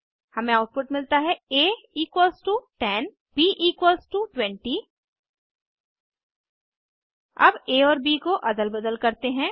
हमे आउटपुट मिलता है आ 10 b20 अब आ और ब को अदल बदल करते हैं